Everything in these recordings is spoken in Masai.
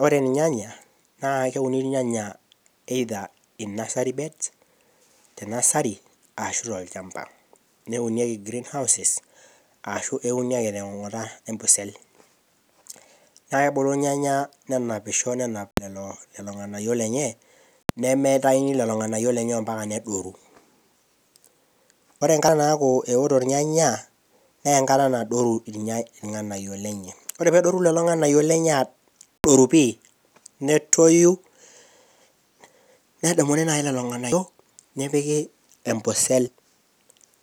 Oree ilnyanya naa eunieki tee Nursery bed tolchamba anaa Green house ashuu neuni akee toong'ata embosel naa kebulu ilnyanya nenapisho nenap ilng'anayio lenye nemeitaini lelo ng'anayio lenye mbaka nedoru, oree enkata naoto ilnyenya neeng'ata nadoru ilnyenye oleng oree pedoru lelo ng'anayio lenye aadoru pii netoyu nedumuni naaji lelo ng'anayio nepiki embosel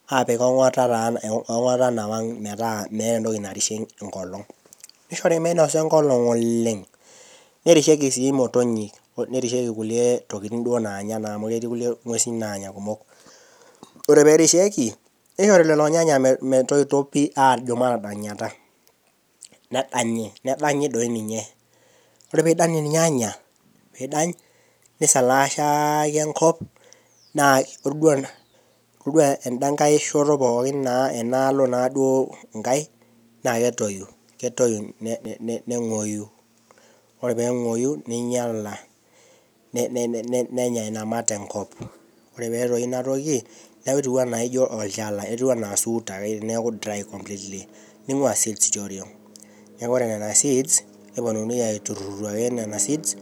apik ong'ata meeta metiii entoki narishie eng'olong neishori menosa eng'olong oleng, nerishieki sii ilmotonyi nerishieki kuliek tokiting' oong'uesi pooki naanya kumok oree perishieki neishori lelo Nyenya metoito pii ajoo metadanyata, nedanyi nedanyi doi ninye oree pidany ilnyanya nisalaashaki enkop itoduo enakaishoto pooki enkai naaketoyu neinyala nenyat inamat enkop oree peetoyu inatoki netuu anaa olchala etuu anaa esuut neaku Dry completely. ning'uaa seeds tioring' neaku oree nena seeds newuonini aituru nena seeds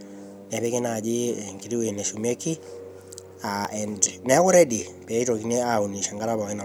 neaku ready peitoki auun enkata pooki nayouni.